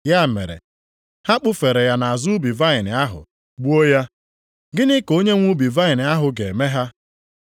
Ya mere, ha kpụfere ya nʼazụ ubi vaịnị ahụ, gbuo ya. “Gịnị ka onye nwe ubi ahụ ga-eme ha?